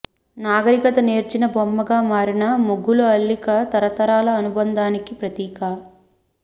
నాగరికత నేర్చిన బొమ్మగా మారిన ముగ్గుల అల్లిక తరతరాల అనుబంధానికి ప్రతీక